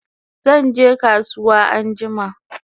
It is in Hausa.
Zanje kasuwa anjima